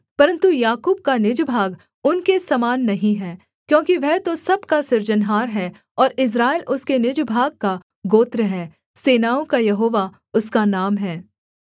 परन्तु याकूब का निज भाग उनके समान नहीं है क्योंकि वह तो सब का सृजनहार है और इस्राएल उसके निज भाग का गोत्र है सेनाओं का यहोवा उसका नाम है